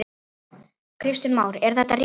Kristján Már: Er þetta rétt?